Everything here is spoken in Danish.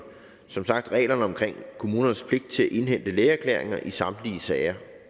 som sagt reglerne om kommunernes pligt til at indhente lægeerklæringer i samtlige sager